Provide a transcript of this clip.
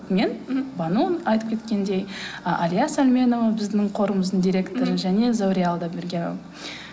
мен бану айтып кеткендей ы әлия сәлменова біздің қорымыздың директоры және зәуре алдабергенова